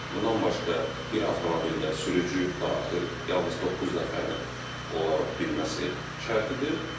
Bundan başqa bir avtomobildə sürücü daxil yalnız doqquz nəfərin ola bilməsi şərtidir.